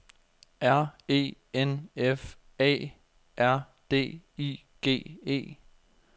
R E N F Æ R D I G E